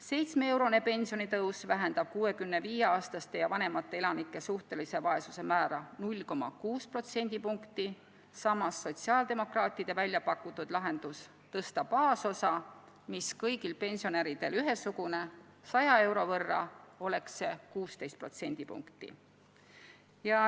Seitsmeeurone pensionitõus vähendab 65-aastaste ja vanemate elanike suhtelise vaesuse määra 0,6 protsendipunkti, samas sotsiaaldemokraatide väljapakutud lahendus tõsta baasosa, mis kõigil pensionäridel on ühesugune, 100 euro võrra vähendaks seda 16 protsendipunkti.